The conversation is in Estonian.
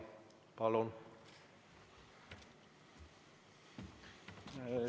Palun!